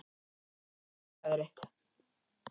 Mig langar að segja þér eitt.